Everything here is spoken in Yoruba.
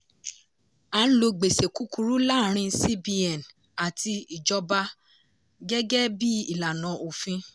a ń lo gbèsè kukuru láàárin cbn àti ìjọba gẹ́gẹ́ bí ìlànà òfin.